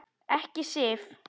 Ekki Sif.